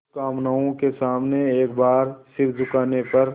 दुष्कामनाओं के सामने एक बार सिर झुकाने पर